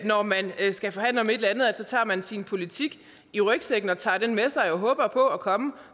når man skal forhandle om et eller andet altså at så tager man sin politik i rygsækken og tager den med sig og håber på at komme